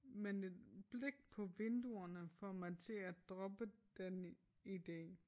Men et blik på vinduerne får mig til at droppe den ide